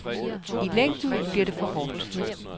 I længden blev det for hårdt.